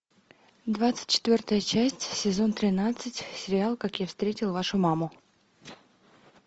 двадцать четвертая часть сезон тринадцать сериал как я встретил вашу маму